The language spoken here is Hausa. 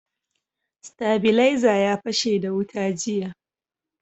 Stabilaiza ya fashe da wuta jiya.